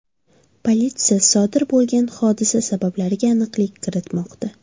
Politsiya sodir bo‘lgan hodisa sabablariga aniqlik kiritmoqda.